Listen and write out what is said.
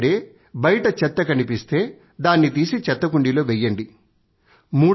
ఎదైనా సరే బయట చెత్త కనిపిస్తే దానిని తీసి చెత్త కుండీలో వెయ్యండి